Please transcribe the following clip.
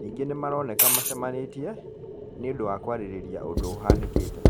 Ningĩ nĩ maroneka macamanĩtie, nĩũndũ wa kwarĩrĩria ũndũ ũhanĩkĩte